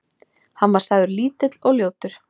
Hann var sagður lítill og ljótur.